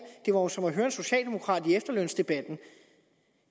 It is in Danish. jo som at høre en socialdemokrat i efterlønsdebatten